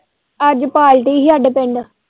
ਅੱਜ ਪਾਲਟੀ ਹੀ ਹਾਡੇ ਪਿੰਡ।